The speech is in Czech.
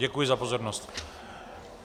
Děkuji za pozornost.